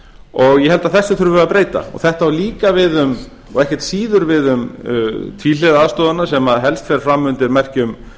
og ég held að þessu þurfum við að breyta þetta á líka og ekkert síður við um tvíhliða aðstoðina sem helst fer fram undir merkjum